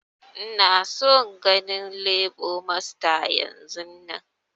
Ina son ganin lebo masta yanzun!